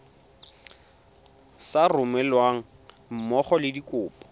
sa romelweng mmogo le dikopo